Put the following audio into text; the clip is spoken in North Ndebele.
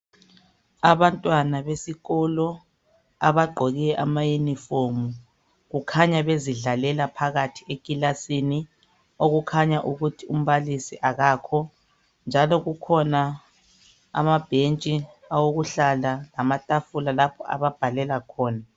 Abantwana besikolo abagqoke amayunifomu, kukhanya bezidlalela phakathi ekilasini, okukhanya ukuthi umbalisi akakho, njalo kukhona amabhentshi awokuhlala lamatafula lapho ababhalela khona